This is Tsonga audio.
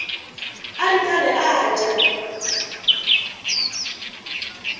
a ri karhi a dya